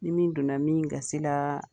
Ni donna min gasi laa